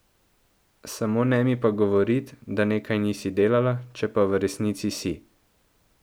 Samo ne mi pa govorit, da nekaj nisi delala, če pa v resnici si.